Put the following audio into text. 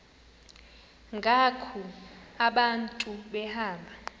ngoku abantu behamba